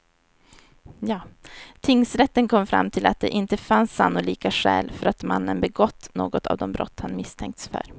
Tingsrätten kom fram till att det inte fanns sannolika skäl för att mannen begått något av de brott han misstänkts för.